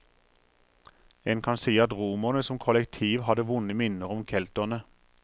En kan si at romerne som kollektiv hadde vonde minner om kelterne.